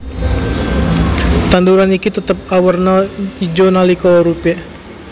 Tanduran iki tetep awerna ijo nalika uripe